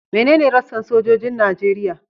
Menene rassan sojojin Najeriya?